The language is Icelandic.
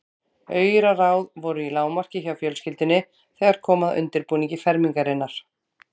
Auraráð voru í lágmarki hjá fjölskyldunni þegar kom að undirbúningi fermingarinnar.